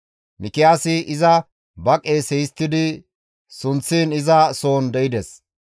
Mikiyaasi iza ba qeese histtidi sunththiin iza soon de7ides.